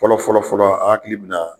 Fɔlɔ fɔlɔ fɔlɔ an hakili bɛ na